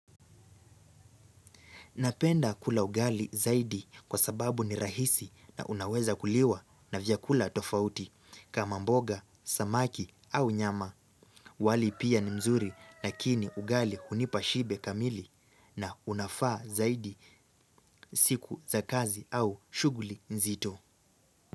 Napenda kula ugali zaidi kwa sababu ni rahisi na unaweza kuliwa na vyakula tofauti kama mboga, samaki au nyama. Wali pia ni mzuri lakini ugali hunipa shibe kamili na unafaa zaidi siku za kazi au shuguli nzito.